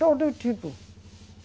Todo tipo.